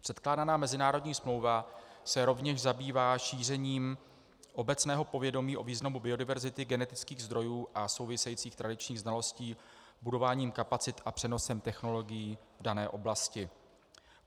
Předkládaná mezinárodní smlouva se rovněž zabývá šířením obecného povědomí o významu biodiverzity genetických zdrojů a souvisejících tradičních znalostí budováním kapacit a přenosem technologií v dané oblasti.